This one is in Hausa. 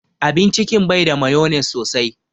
Abin cikin bai da mayonnaise sosai.